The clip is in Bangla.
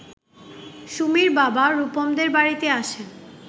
সুমির বাবা রুপমদের বাড়িতে আসেন